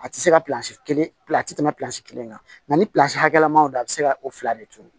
A tɛ se ka kelen pila a ti tɛmɛ kelen kan ni hakɛ ma don a bi se ka o fila de turu